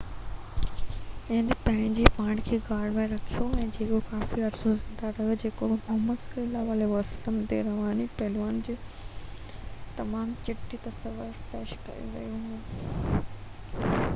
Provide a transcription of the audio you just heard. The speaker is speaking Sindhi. هن پنهنجي پاڻ کي غار ۾ رکيو جيڪو ڪافي عرصو زنده رهيو جيڪو محمد صلي الله عليه وسلم جي روحاني پهلوئن جي تمام چٽي تصوير پيش ڪري ٿو